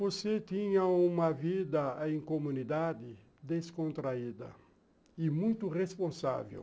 Você tinha uma vida em comunidade descontraída e muito responsável.